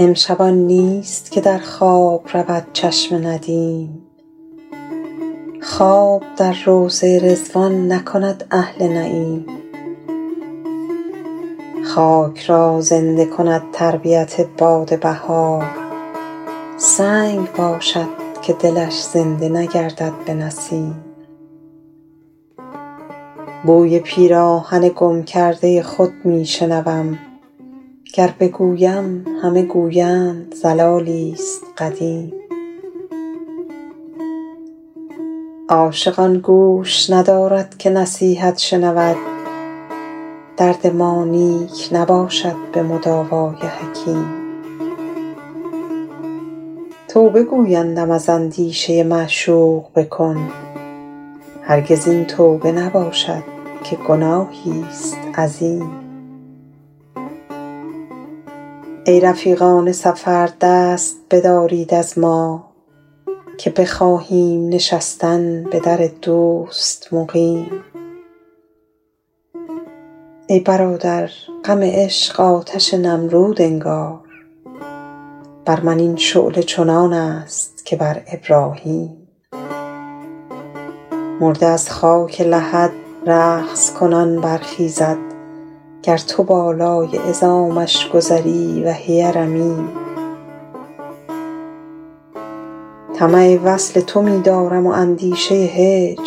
امشب آن نیست که در خواب رود چشم ندیم خواب در روضه رضوان نکند اهل نعیم خاک را زنده کند تربیت باد بهار سنگ باشد که دلش زنده نگردد به نسیم بوی پیراهن گم کرده خود می شنوم گر بگویم همه گویند ضلالی ست قدیم عاشق آن گوش ندارد که نصیحت شنود درد ما نیک نباشد به مداوا ی حکیم توبه گویندم از اندیشه معشوق بکن هرگز این توبه نباشد که گناهی ست عظیم ای رفیقان سفر دست بدارید از ما که بخواهیم نشستن به در دوست مقیم ای برادر غم عشق آتش نمرود انگار بر من این شعله چنان است که بر ابراهیم مرده از خاک لحد رقص کنان برخیزد گر تو بالای عظامش گذری وهی رمیم طمع وصل تو می دارم و اندیشه هجر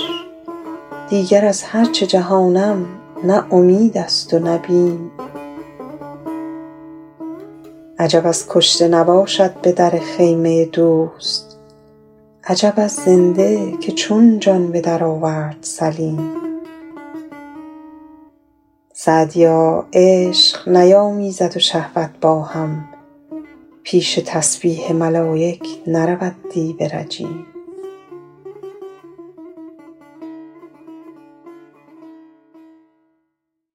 دیگر از هر چه جهانم نه امید است و نه بیم عجب از کشته نباشد به در خیمه دوست عجب از زنده که چون جان به درآورد سلیم سعدیا عشق نیامیزد و شهوت با هم پیش تسبیح ملایک نرود دیو رجیم